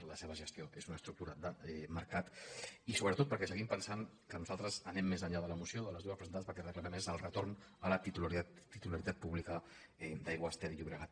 ara la seva gestió és una estructura de mercat i sobretot perquè seguim pensant que nosaltres anem més enllà de la moció de les dues presentades perquè el que reclamem és el retorn a la titularitat pública d’aigües ter llobregat